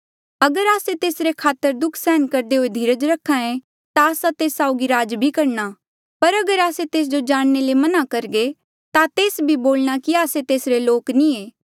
अगर आस्से तेसरे खातर दुःख सहन करदे हुए धीरज रखे ता आस्सा तेस साउगी राज भी करणा पर अगर आस्से तेस जो जाणने ले मना करघे ता तेस भी बोलणा कि आस्से तेसरे लोक नी ऐें